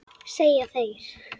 segja þeir.